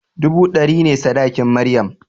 Dubu ɗari ne sadakin maryam